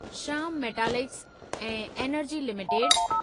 Shyam metalics and energy limited